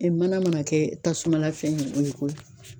mana mana kɛ tasuma la fɛn ye o ye ko ye ?